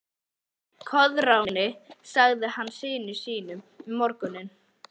Koðráni, sagði hann syni sínum um morguninn.